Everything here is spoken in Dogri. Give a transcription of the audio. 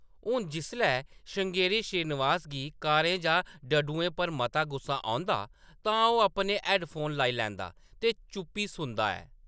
हुन, जिसलै श्रृंगेरी श्रीनिवास गी कारें जां डड्डुएं पर मता गुस्सा औंदा , तां ओह्‌‌ अपने हैड्डफोन लाई लैंदा ते चुप्पी सुनदा ऐ ।